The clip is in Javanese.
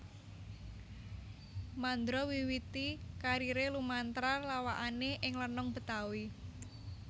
Mandra miwiti kariré lumantar lawakané ing lenong Betawi